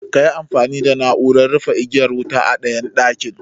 Kayi amfani da na'uran rufe igiyar wuta a ɗayan ɗakin